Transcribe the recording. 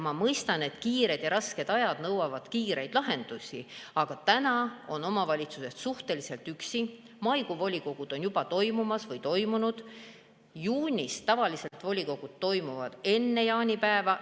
Ma mõistan, et kiired ja rasked ajad nõuavad kiireid lahendusi, kuid omavalitsused on suhteliselt üksi, maikuu volikogud on juba toimumas või toimunud, juunis tavaliselt volikogu koosolekud toimuvad enne jaanipäeva.